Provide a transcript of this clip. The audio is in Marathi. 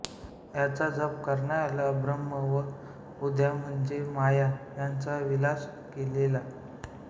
याचा जप करणायाला ब्रह्म व आद्या म्हणजे माया यांचा विलास कळेल